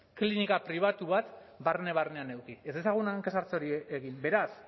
klinika pribatu bat barne barnean eduki ez dezagun hanka sartze hori egin beraz